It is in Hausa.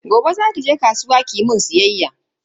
Gobe zaki je kasuwa kimun siyayya.